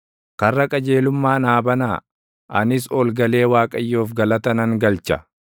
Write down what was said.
Karra qajeelummaa naa banaa; anis ol galee Waaqayyoof galata nan galcha.